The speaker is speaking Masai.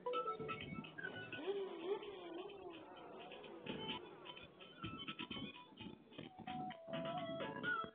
ore kuna naa :endaa, enkare, oltaa le candle we nkiberiti, isoitok loo sitimani olkulie kumok